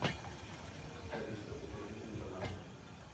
алиса закажи мне бананы